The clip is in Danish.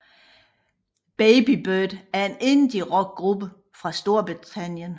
Baby Bird er en indierock gruppe fra Storbritannien